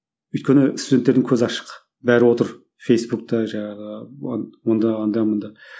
өйткені студенттердің көзі ашық бәрі отыр фейсбукта жаңағы онда анда мұнда